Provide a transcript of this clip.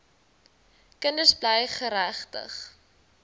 kinders bly geregtig